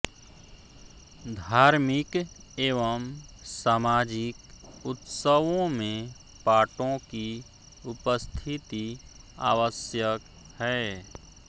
धार्मिक एवं सामाजिक उत्सवों में पाटों की उपस्थिति आवश्यक है